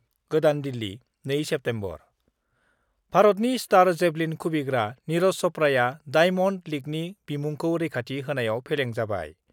गोदान दिल्ली, 2 सेप्तेम्बर: भारतनि star javelin खुबैग्रा निरज चप्राआ डाइमन्ड लीगनि बिमुंखौ रैखाथि होनायाव फेलें जाबाय।